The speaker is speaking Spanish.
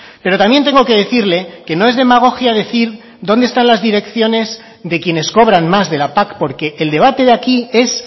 pero también tengo que decirle que no es demagogia decir dónde están las direcciones de quienes cobran más de la pac porque el debate de aquí es